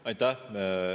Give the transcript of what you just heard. Aitäh!